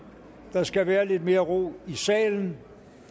der skal være lidt mere ro i salen